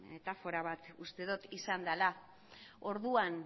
metafora bat uste dut izan dela orduan